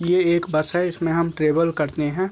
ये एक बस है इसमें हम ट्रेवल करते हैं ।